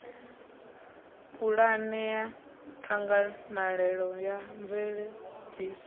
pulane ya ṱhanganelano ya mveledziso